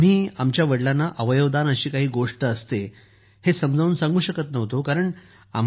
आम्ही आमच्या वडलांना अवयव दान अशी काही गोष्ट असते हे समजावून सांगू शकत नव्हतो